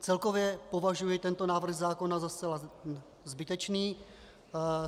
Celkově považuji tento návrh zákona za zcela zbytečný.